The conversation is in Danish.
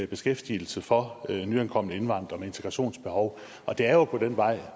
beskæftigelse for nyankomne og indvandrere med integrationsbehov det er jo på den vej